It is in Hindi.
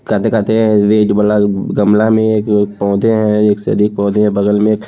गमला में एक पौधे है एक से अधिक पौधे हैं बगल में--